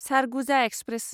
Surguja express